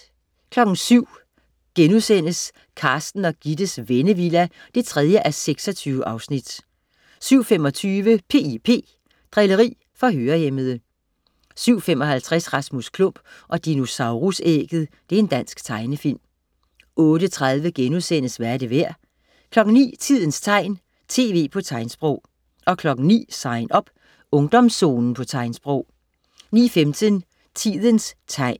07.00 Carsten og Gittes Vennevilla 3:26* 07.25 P.I.P. Drilleri for hørehæmmede 07.55 Rasmus Klump og dinosaurus-ægget. Dansk tegnefilm 08.30 Hvad er det værd?* 09.00 Tidens tegn, tv på tegnsprog 09.00 Sign Up. Ungdomszonen på tegnsprog 09.15 Tidens tegn